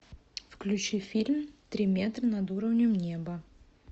включи фильм три метра над уровнем неба